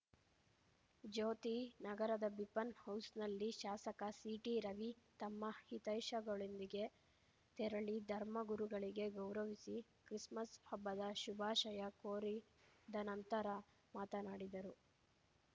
ಜ್ಯೋತಿ ನಗರದ ಬಿಪನ್ ಹೌಸ್‌ನಲ್ಲಿ ಶಾಸಕ ಸಿಟಿ ರವಿ ತಮ್ಮ ಹಿತೈಷಗಳೊಂದಿಗೆ ತೆರಳಿ ಧರ್ಮ ಗುರುಗಳಿಗೆ ಗೌರವಿಸಿ ಕ್ರಿಸ್‌ಮಸ್‌ ಹಬ್ಬದ ಶುಭಾಷಯ ಕೋರಿದ ನಂತರ ಮಾತನಾಡಿದರು